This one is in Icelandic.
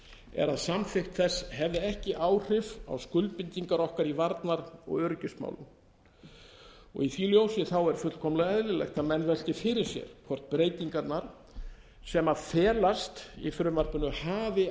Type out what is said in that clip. er að samþykkt þess hefði ekki áhrif á skuldbindingar okkar í varnar og öryggismálum í því ljósi er fullkomlega eðlilegt að menn velti fyrir sér hvort breytingarnar sem felast í frumvarpinu hafi